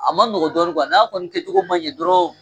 A ma nɔgɔ dɔɔnin n'a kɔni kɛcogo ma ɲɛ dɔrɔn